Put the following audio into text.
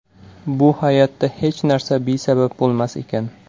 Bu hayotda hech narsa besabab bo‘lmas ekan.